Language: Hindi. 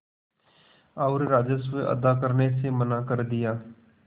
और राजस्व अदा करने से मना कर दिया